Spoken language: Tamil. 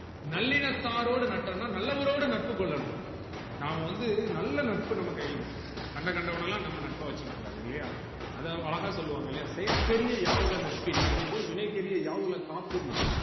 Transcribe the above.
நல்லினத்தாரோடு நட்டனு நல்லவரோடு நட்பு கொல்லனும் நாம வந்து நல்ல நட்பு நம்ம கையில இருக்கனும் கண்ட கண்டவனலாம் நாம நட்பா வச்சிக்ககூடாது இல்லையா அதாவது அழகா சொல்லுவாங்க இல்லையா செய்யர்கரிய யாவல நட்பின் அதுபோல் வினை தெரிய யாவுள காப்புனா